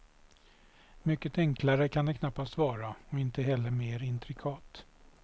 Mycket enklare kan det knappast vara och inte heller mer intrikat.